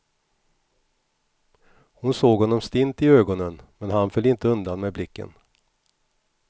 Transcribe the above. Hon såg honom stint i ögonen men han föll inte undan med blicken.